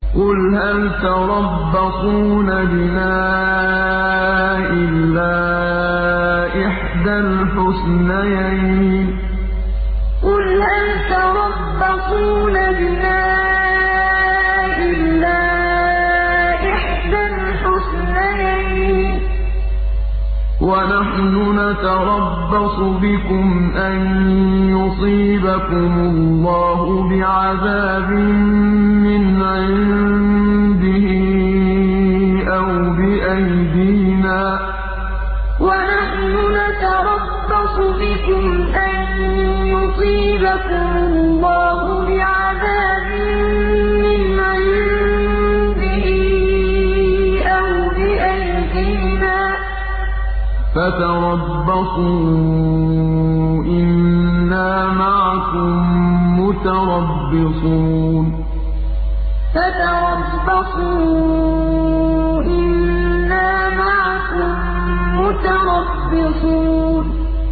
قُلْ هَلْ تَرَبَّصُونَ بِنَا إِلَّا إِحْدَى الْحُسْنَيَيْنِ ۖ وَنَحْنُ نَتَرَبَّصُ بِكُمْ أَن يُصِيبَكُمُ اللَّهُ بِعَذَابٍ مِّنْ عِندِهِ أَوْ بِأَيْدِينَا ۖ فَتَرَبَّصُوا إِنَّا مَعَكُم مُّتَرَبِّصُونَ قُلْ هَلْ تَرَبَّصُونَ بِنَا إِلَّا إِحْدَى الْحُسْنَيَيْنِ ۖ وَنَحْنُ نَتَرَبَّصُ بِكُمْ أَن يُصِيبَكُمُ اللَّهُ بِعَذَابٍ مِّنْ عِندِهِ أَوْ بِأَيْدِينَا ۖ فَتَرَبَّصُوا إِنَّا مَعَكُم مُّتَرَبِّصُونَ